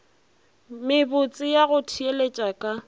mebotse ya go theeletša ka